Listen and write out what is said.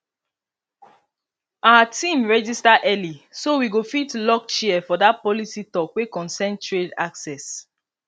our team register early so we go fit lock chair for that policy talk wey concern trade access